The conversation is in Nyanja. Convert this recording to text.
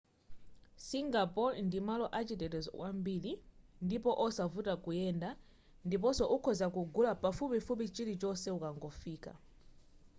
singapore ndi malo a chitetezo kwambiri ndipo osavuta kuyenda ndiponso ukhoza kugula pafupifupi chilichonse ukangofika